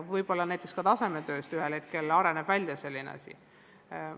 Võib-olla ka tasemetöödest areneb ühel hetkel välja selline asi.